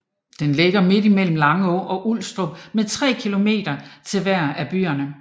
Den ligger midt mellem Langå og Ulstrup med 3 kilometer til hver af byerne